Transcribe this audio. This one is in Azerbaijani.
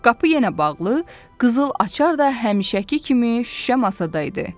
Qapı yenə bağlı, qızıl açar da həmişəki kimi şüşə masadaydı.